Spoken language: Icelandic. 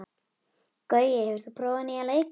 Gaui, hefur þú prófað nýja leikinn?